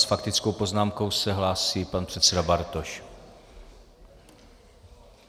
S faktickou poznámkou se hlásí pan předseda Bartoš.